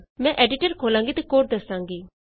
ਮੈਂ ਐਡੀਟਰ ਖੋਲ੍ਹਾਂਗੀ ਅਤੇ ਕੋਡ ਦਸਾਂਗੀ